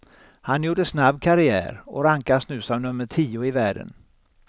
Han gjorde snabb karriär och rankas nu som nummer tio i världen.